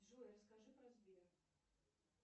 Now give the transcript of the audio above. джой расскажи про сбер